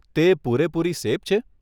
તે પૂરેપૂરી સેફ છે?